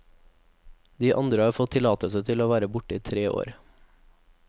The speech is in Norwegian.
De andre har fått tillatelse til å være borte i tre år.